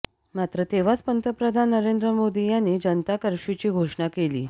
मात्र तेव्हाच पंतप्रधान नरेंद्र मोदी यांनी जनता कर्फ्यूची घोषणा केली